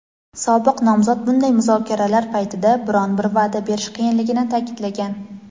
sobiq nomzod bunday muzokaralar paytida biron bir va’da berish qiyinligini ta’kidlagan.